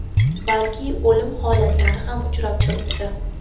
balki o‘lim holatlari ham uchrab turibdi.